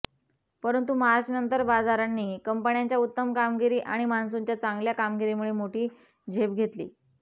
परंतु मार्चनंतर बाजारांनी कंपन्यांच्या उत्तम कामगिरी आणि मॉन्सूनच्या चांगल्या कामगिरीमुळे मोठी झेप घेतली